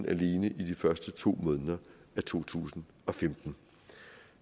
alene i de første to måneder af to tusind og femten